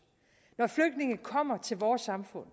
når flygtninge kommer til vores samfund